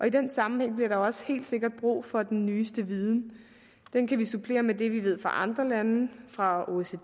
i den sammenhæng bliver der jo også helt sikkert brug for den nyeste viden den kan vi supplere med det vi ved fra andre lande fra oecd